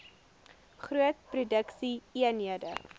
groot produksie eenhede